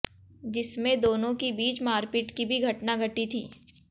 जिसमें दोनों की बीच मारपीट की भी घटना घटी थी